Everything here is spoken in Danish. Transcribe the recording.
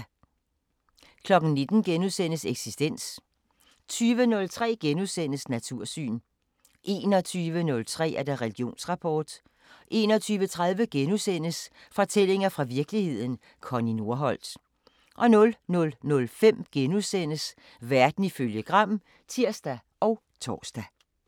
19:00: Eksistens * 20:03: Natursyn * 21:03: Religionsrapport 21:30: Fortællinger fra virkeligheden – Connie Nordholt * 00:05: Verden ifølge Gram *(tir og tor)